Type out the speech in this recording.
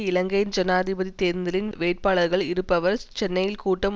இலங்கையின் ஜனாதிபதி தேர்தலில் வேட்பாளராகள் இருப்பவர் சென்னையில் கூட்டம்